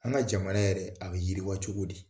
An ka jamana yɛrɛ a bɛ yiriwa cogo di